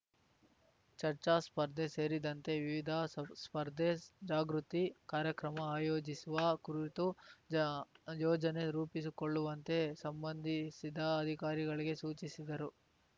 ಚರ್ಚಾ ಸ್ಪರ್ಧೆ ಸೇರಿದಂತೆ ವಿವಿಧ ಸ್ಪ್ ಸ್ಪರ್ಧೆ ಜಾಗೃತಿ ಕಾರ್ಯಕ್ರಮ ಆಯೋಜಿಸುವ ಕುರಿತು ಜ ಯೋಜನೆ ರೂಪಿಸಿಕೊಳ್ಳುವಂತೆ ಸಂಬಂಧಿಸಿದ ಅಧಿಕಾರಿಗಳಿಗೆ ಸೂಚಿಸಿದರು